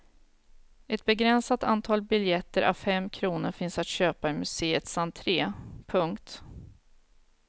Ett begränsat antal biljetter a fem kronor finns att köpa i museets entre. punkt